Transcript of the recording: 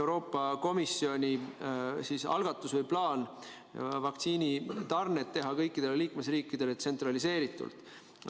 Euroopa Komisjoni plaan teha vaktsiinitarned kõikidele liikmesriikidele tsentraliseeritult.